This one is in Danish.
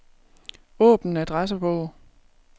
Åbn adressebog.